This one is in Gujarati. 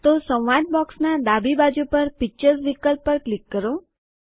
તેથી સંવાદ બોક્સનાં ડાબી બાજુ પર પિક્ચર્સ વિકલ્પ પર ક્લિક કરો